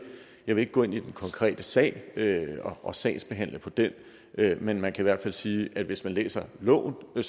jeg vil ikke gå ind i den konkrete sag og sagsbehandle på den men man kan i hvert fald sige at hvis man læser loven